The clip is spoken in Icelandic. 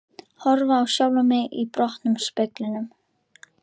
Horfa á sjálfan mig í brotnum speglinum.